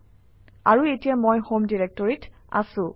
আৰু এতিয়া মই হোম ডিৰেক্টৰীত আছোঁ